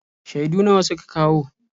Shaidu nawa suka kawo?